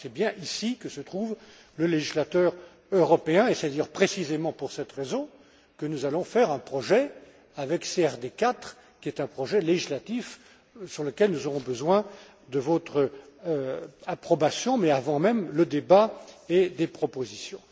C'est bien ici que se trouve le législateur européen et c'est précisément pour cette raison que nous allons faire un projet avec CRD 4, qui est un projet législatif sur lequel nous aurons besoin de votre approbation, mais avant même le débat, et des propositions.